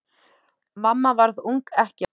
Mamma varð ung ekkja.